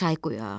Çay qoyaq,